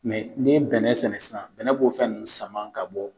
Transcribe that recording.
ni ye bɛnɛ sɛnɛ sisan, bɛnɛ b'o fɛn nunnu sama ka bɔ